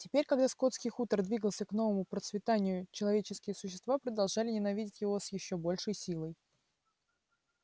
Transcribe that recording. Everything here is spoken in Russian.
теперь когда скотский хутор двигался к новому процветанию человеческие существа продолжали ненавидеть его с ещё большей силой